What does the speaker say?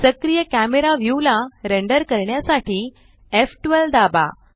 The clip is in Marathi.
सक्रिय कॅमरा व्यू ला रेंडर करण्यासाठी एफ12 दाबा